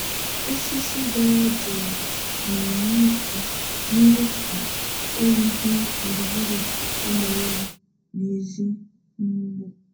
Osisi dara jụụ na-enye aka mee ka oyi dị gburugburu ụlọ ewu n’èzí n’ugbo.